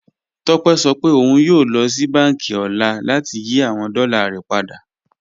Tópẹ̀ sọ pé ọ̀un yóò lọ sí bánkì ni ọ̀lá láti yí awọn dọ́là rẹ̀ padà